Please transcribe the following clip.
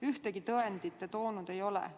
Ühtegi tõendit te toonud ei ole.